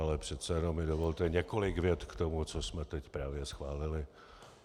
Ale přece jenom mi dovolte několik vět k tomu, co jsme teď právě schválili.